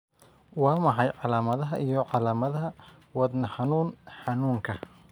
Waa maxay calaamadaha iyo calaamadaha Wadnaxanuun xanuunka?